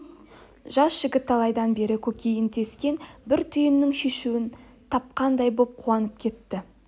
жас жігіт талайдан бері көкейін тескен бір түйіннің шешуін тапқандай боп қуанып кетті